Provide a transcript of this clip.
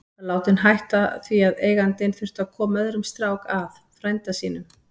Var látinn hætta af því að eigandinn þurfti að koma öðrum strák að, frænda sínum.